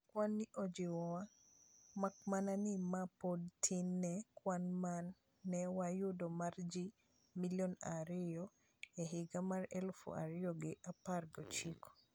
"Kwan ni ojiwo wa. Makmana ni ma pod tin ne kwan mane wayudo mar jii milion ario e higa mar eluf ario gi apar gochiko.